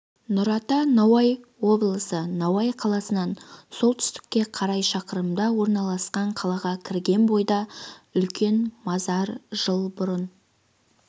нұрата науаи облысы науаи қаласынан солтүстікке қарай шақырымда орналасқан қалаға кірген бойда үлкен мазар жыл бұрын